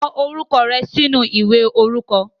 Kọ orúkọ rẹ sínú ìwé orúkọ.